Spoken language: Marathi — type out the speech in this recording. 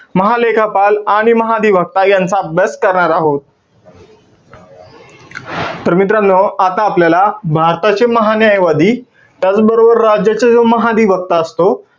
महालेखापाल आणि महाअधिव्यक्तायांचा अभ्यास करणार आहोत. तर मित्रांनो, आता आपल्याला भारताचे महान्यायवादी, त्याचबरोबर राज्याचे जो महाअधिव्यक्ता असतो,